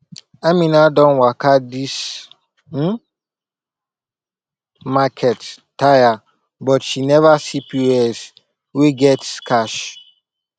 amina don waka this um market tire but she never see pos wey get cash